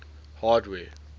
hardware